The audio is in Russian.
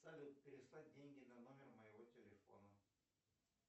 салют переслать деньги на номер моего телефона